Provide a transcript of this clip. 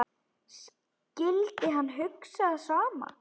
Skyldi hann hugsa það sama?